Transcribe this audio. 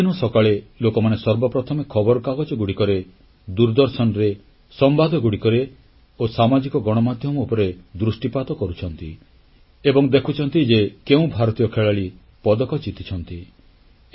ପ୍ରତିଦିନ ସକାଳେ ଲୋକମାନେ ସର୍ବପ୍ରଥମେ ଖବରକାଗଜଗୁଡ଼ିକରେ ଦୂରଦର୍ଶନରେ ସମ୍ବାଦଗୁଡ଼ିକରେ ଓ ସାମାଜିକ ଗଣମାଧ୍ୟମ ଉପରେ ଦୃଷ୍ଟିପାତ କରୁଛନ୍ତି ଏବଂ ଦେଖୁଛନ୍ତି ଯେ କେଉଁ ଭାରତୀୟ ଖେଳାଳି ପଦକ ଜିତିଛନ୍ତି